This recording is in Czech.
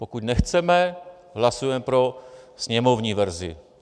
Pokud nechceme, hlasujeme pro sněmovní verzi.